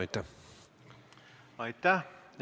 Aitäh!